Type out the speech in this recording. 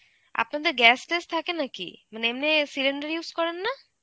আপনাদের gas ট্যাস থাকে নাকি? মানে এমনি cylinder use করেন না?